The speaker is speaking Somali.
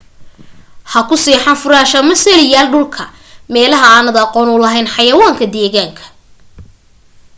ha ku seexan furaash ama salli yaal dhulka meelaha aanad aqoon u lahayn xayawaanka deegaanka